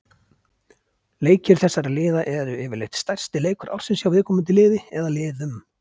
Leikir þessara liða er yfirleitt stærsti leikur ársins hjá viðkomandi liði eða liðum.